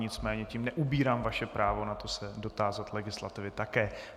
Nicméně tím neubírám vaše právo na to se dotázat legislativy také.